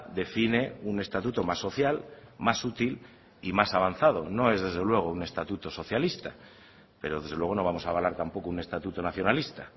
define un estatuto más social más útil y más avanzado no es desde luego un estatuto socialista pero desde luego no vamos a avalar tampoco un estatuto nacionalista